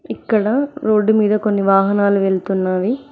ఇక్కడ రోడ్డు మీద కొన్ని వాహనాలు వెళుతున్నావి.